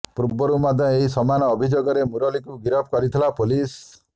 ପୂର୍ବରୁ ମଧ୍ୟ ଏହି ସମାନ ଅଭିଯୋଗରେ ମୁରଲୀକୁ ଗିରଫ କରିଥିଲା ପୋଲିସ୍